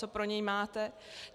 Co pro něj máte?